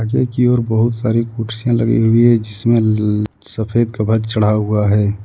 Take your बहुत सारी खुशियां लगी हुई है जिसमें सफेद कवर चढ़ा हुआ है।